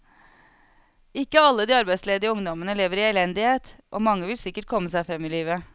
Ikke alle de arbeidsledige ungdommene lever i elendighet, og mange vil sikkert komme seg frem i livet.